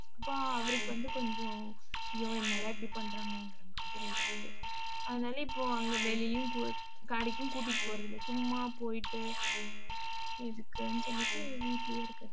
அப்ப அவருக்கு வந்து, கொஞ்சம் ஐயோ என்னடா இப்படி பண்றாங்கங்கிற மாதிரி இருக்குது. அதனால இப்போ அங்க வெளியிலயும் கூட்~ கடைக்கும் கூட்டிட்டு போறதில்லை. சும்மா போயிட்டு எதுக்குன்னு சொல்லிட்டு வீட்டுலயே இருக்கிறது